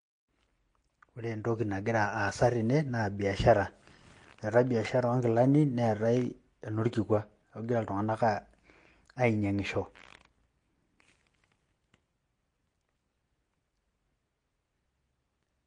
Ore entoki nagira aasa tene naa biashara, eetai biashare oo nkilani neetai enorkikua. Neeku egira iltung'anak ainyang'isho.